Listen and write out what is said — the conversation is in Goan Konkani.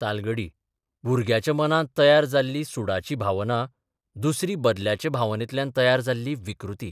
तालगडी भुरग्याच्या मनांत तयार जाल्ली सुडाची भावना दुसरी बदल्याचे भावनेंतल्यान तयार जाल्ली विकृती.